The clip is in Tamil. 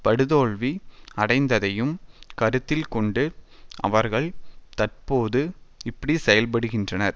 படுதோல்வி அடைந்ததையும் கருத்தில் கொண்டு அவர்கள் தற்போது இப்படி செயல்படுகின்றனர்